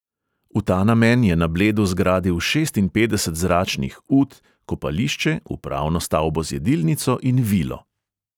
V ta namen je na bledu zgradil šestinpetdeset zračnih ut, kopališče, upravno stavbo z jedilnico in vilo.